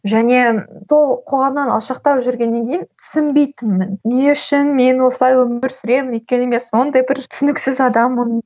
және сол қоғамнан алшақтау жүргеннен кейін түсінбейтінмін не үшін мен осылай өмір сүремін өйткені мен сондай бір түсініксіз адаммын